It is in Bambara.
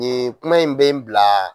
Nin kuma in bɛ bila